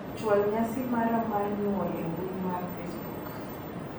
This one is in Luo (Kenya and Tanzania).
chwal nyasi mara mar nyuol e mbui mar facebook